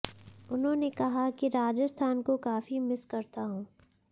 उन्होंने कहा कि राजस्थान को काफी मिस करता हूं